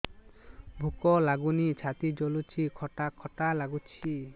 ଭୁକ ଲାଗୁନି ଛାତି ଜଳୁଛି ଖଟା ଖଟା ଲାଗୁଛି